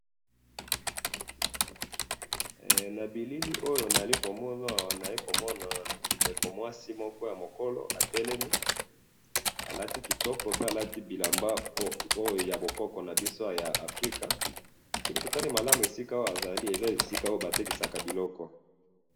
he na bilili oyo nazali komona awa nazali komona ndeko ya mwasi ya mokola atelemi alati kitoko alati bilamba oyo ya bakoko na biso ya Africa nabiso soki totali malamu ezali esika batekisaka biloko